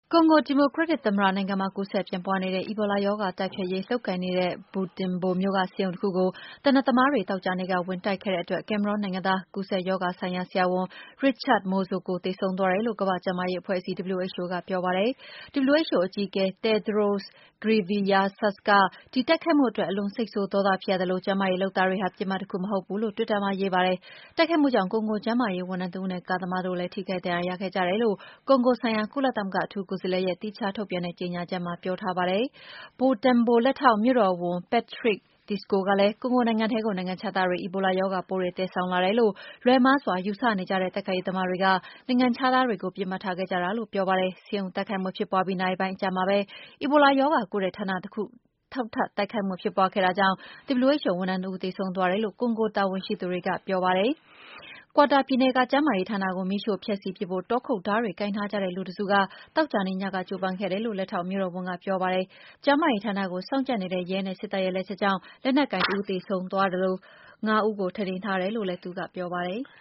ကွန်ဂိုဒီမိုကရက်တစ်သမ္မတနိုင်မှာ ကူးစက်ပြန့်ပွါးနေတဲ့ အီဘိုလာရောဂါတိုက်ဖျက်ရေးလုပ်ကိုင်နေတဲ့ Butembo မြို့က ဆေးရုံတခုကို သေနတ်သမားတွေ သောကြာနေ့က ဝင်တိုက်ခဲ့တဲ့အတွက် ကင်မရွန်းနိုင်ငံသား ကူးစက်ရောဂါဆိုင်ရာ ဆရာဝန် Richard Mouzoko သေဆုံးသွားတယ်လိ့ု ကမ္ဘာ့ကျန်းမာရေးအဖွဲ့အစည်း WHO ကပြောပါတယ်။ WHO အကြီးအကဲ Tedros Adhanom Ghebreyesus က ဒီတိုက်ခိုက်မှုအတွက် အလွန်စိတ်ဆိုးဒေါသဖြစ်ရသလို ကျန်းမာရေးလုပ်သားတွေဟာ ပစ်မှတ်တခုမဟုတ်ဘူးလို့ တွစ်တာစာမျက်နှာမှာ ရေးသားခဲ့ပါတယ်။ တိုက်ခိုက်မှုကြောင့် ကွန်ဂိုကျန်းမာရေးဝန်ထမ်းတဦးနဲ့ ကားသမားတို့လည်း ထိခိုက်ဒဏ်ရာတွေရခဲ့ကြတယ်လို့ ကွန်ဂိုဆိုင်ရာ ကုလသမဂ္ဂလ အထူးကိုယ်စားလှယ်ရဲ့ သီးခြားထုတ်ပြန်တဲ့ ကြေငြာချက်မှာ ပြောထားပါတယ်။ Butembo လက်ထောက်မြို့တော်ဝန် Patrick Kambale Tsiko ကလည်း ကွန်ဂိုနိုင်ငံထဲကို နိုင်ငံခြားသားတွေ အီဘိုလာရောဂါပိုးတွေ သယ်ဆောင်လာတယ်လို့ လွှဲမှားစွာယူဆနေကြတဲ့ တိုက်ခိုက်ရေးသမားတွေက နိုင်ငံခြားသားတွေကို ပစ်မှတ်ထားခဲ့ကြတာလို့ ပြောပါတယ်။ ဆေးရုံတိုက်ခိုက်မှုဖြစ်ပွါးပြီး နာရီပိုင်းအကြာမှာပဲ အီဘိုလာရောဂါကုတဲ့ ဌာနတခုမှာ နောက်ထပ်တိုက်ခိုက်မှု ဖြစ်ပွါးခဲ့တာကြောင့် WHO ဝန်ထမ်းတဦး သေဆုံးသွားတယ်လို့ ကွန်ဂိုတာဝန်ရှိသူတွေက ဒီကနေ့ပြောပါတယ်။ Katwa ပြည်နယ်က ကျန်းမာရေးဌာနကို မီးရှို့ဖျက်ဆီးပစ်ဖို့ တောခုတ်ဓားတွေ ကိုင်ထားကြတဲ့လူတစု သောကြနေ့ညက ကြိုးပမ်းခဲ့တယ်လို့ လက်ထောက်မြို့တော်ဝန် Patrick က AP သတင်းဌာနကို ပြောပါတယ်။ ကျန်းမာရေးဌာနကို စောင့်ကြပ်နေတဲ့ ရဲနဲ့ စစ်တပ်ရဲ့ လက်ချက်ကြောင့် လက်နက်ကိုင်တဦးသေဆုံးသွားသလို ၅ ဦးကို ထိန်းသိမ်းထားတယ်လို့လည်း သူကပြောပါတယ်။